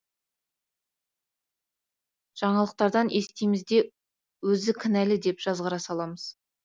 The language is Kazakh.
жаңалықтардан естиміз де өзі кінәлі деп жазғыра саламыз